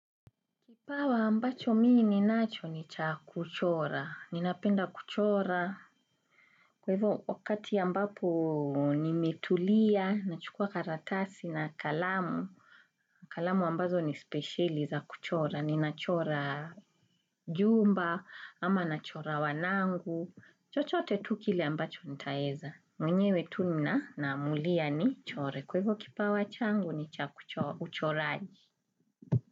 Kipawa ambacho mi ninacho ni cha kuchora. Ninapenda kuchora. Kwa hivyo wakati ambapo nimetulia, nachukua karatasi na kalamu. Kalamu ambazo ni spesheli za kuchora. Ninachora jumba, ama nachora wanangu. Chochote tu kile ambacho nitaweza. Mwenyewe tu naamulia nichore. Kwa hivyo kipawa changu ni cha uchoraji.